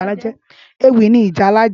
Éwì ni ìjálá jè